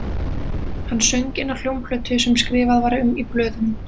Hann söng inn á hljómplötu sem skrifað var um í blöðunum